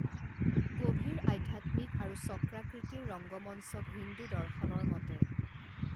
গভীৰ আধ্যাত্মিক আৰু চক্ৰাকৃতিৰ ৰংগমঞ্চক হিন্দু দৰ্শনৰ মতে